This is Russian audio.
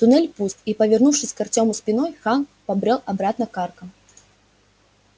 туннель пуст и повернувшись к артёму спиной хан побрёл обратно к аркам